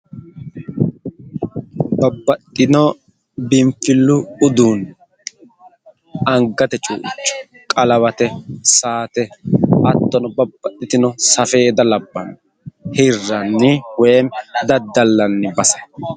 Babbaxxino biinfillu uduunni angate cuuicho, qalawate, saate hattono babbaxitino safeeda labbanno hirranni woyim daddallanni base.